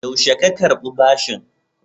Yaushe ka karɓi?